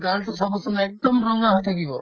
গালতো চাবচোন একদম ৰঙা হৈ থাকিব